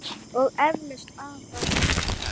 Og eflaust afa líka.